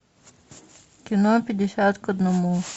кино пятьдесят к одному